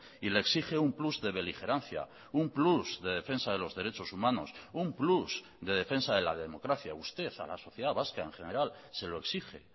y le exige un plus de beligerancia un plus de defensa de los derechos humanos un plus de defensa de la democracia usted a la sociedad vasca en general se lo exige